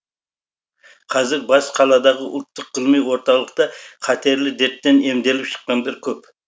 қазір бас қаладағы ұлттық ғылыми орталықта қатерлі дерттен емделіп шыққандар көп